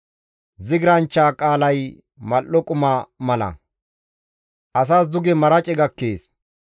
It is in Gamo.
Zigiranchcha qaalay mal7o quma mala; asas duge marace gakkees.